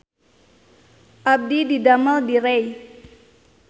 Abdi didamel di Rei